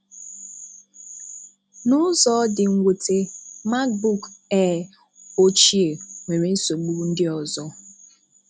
N’ụzọ dị́ mwùtè, MacBook Air ochie nwere nsogbu ndị ọzọ.